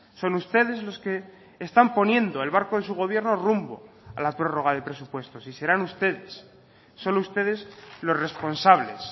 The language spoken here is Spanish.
son ustedes los que están poniendo el barco de su gobierno rumbo a la prórroga de presupuestos y serán ustedes solo ustedes los responsables